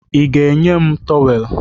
Ị ga-enye m tọweelụ?